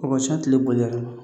O ka ca tile boli yɛrɛ ma